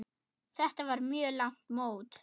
Þetta var mjög langt mót.